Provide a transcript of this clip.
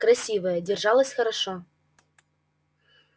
красивая держалась хорошо